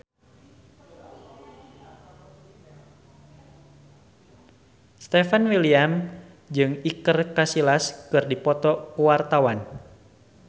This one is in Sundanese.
Stefan William jeung Iker Casillas keur dipoto ku wartawan